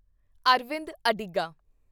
Arvind Adiga